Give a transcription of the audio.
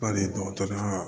Bali dɔgɔtɔrɔya